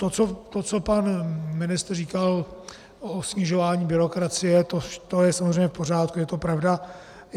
To, co pan ministr říkal o snižování byrokracie, to je samozřejmě v pořádku, je to pravda.